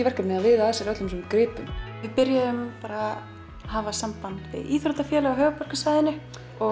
verkefni að viða að sér öllum þessum gripum við byrjuðum að hafa samband við íþróttafélög á höfuðborgarsvæðinu